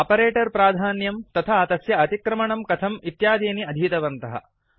operator प्राधान्यम् तथा तस्य अतिक्रमणं कथम् इत्यादीनि अधीतवन्तः